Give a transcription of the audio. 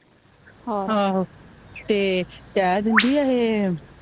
ਹਾਂ ਆਹੋ ਤੇ ਕੈਦ ਹੀ ਇਹੇ